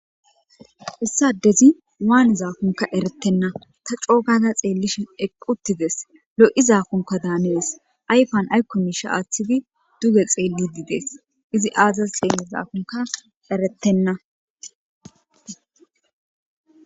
Issi afezi wanizalonka ereyena ta co gada xeelishin eqi uttides lo'izakonka Danes ayfan ayko miishi athi uttidi duge xeeli uttides izi azas xeekizakonka eretena